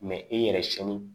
e yɛrɛ sɛni